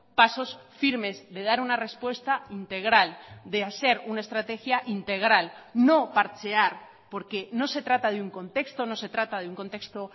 pasos firmes de dar una respuesta integral de hacer una estrategia integral no parchear porque no se trata de un contexto no se trata de un contexto